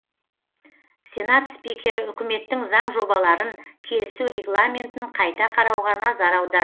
сенат спикері үкіметтің заң жобаларын келісу регламентін қайта қарауға назар аударды